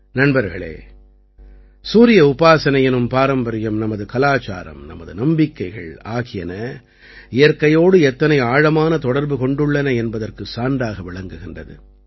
நண்பர்களே சூரிய உபாசனை எனும் பாரம்பரியம் நமது கலாச்சாரம் நமது நம்பிக்கைகள் ஆகியன இயற்கையோடு எத்தனை ஆழமான தொடர்பு கொண்டுள்ளன என்பதற்குச் சான்றாக விளங்குகின்றது